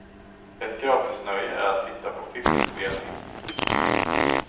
Ett gratisnöje är att titta på filminspelning.